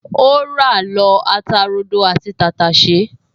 O ra lọ ata rodo àti tàtàṣẹ́